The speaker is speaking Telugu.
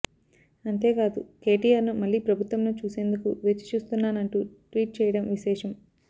అంతేకాదు కేటీఆర్ను మళ్లీ ప్రభుత్వంలో చూసేందుకు వేచిచూస్తున్నానంటూ ట్వీట్ చేయడం విశేషం